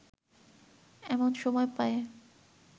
এমন সময় পায়ে